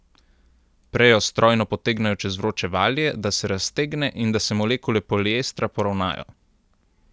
Prejo strojno potegnejo čez vroče valje, da se raztegne in da se molekule poliestra poravnajo.